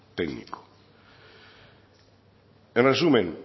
técnico en resumen